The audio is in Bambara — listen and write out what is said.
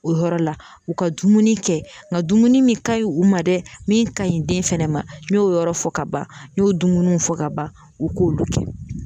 O yɔrɔ la u ka dumuni kɛ nka dumuni min ka ɲi u ma dɛ min ka ɲi den fɛnɛ ma n y'o yɔrɔ fɔ ka ban n y'o dumuniw fɔ ka ban u k'olu kɛ.